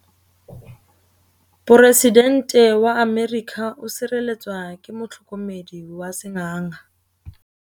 Poresitêntê wa Amerika o sireletswa ke motlhokomedi wa sengaga.